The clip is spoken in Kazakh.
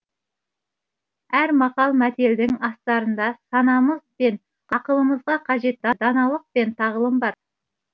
әр мақал мәтелдің астарында санамыз бен ақылымызға қажетті даналық пен тағылым бар